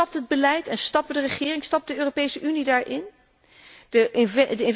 ook. Maar stapt het beleid en stappen de regeringen, stapt de Europese Unie daar mee